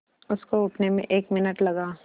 उसको उठने में एक मिनट लगा